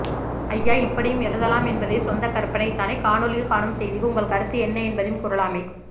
ஐயா இப்படியும் எழுதலாம் என்பதே சொந்தக் கற்பனைதானே காணொளியில் காணும் செய்திக்கு உங்கள் கருத்து என்ன என்பதையும் கூறலாமே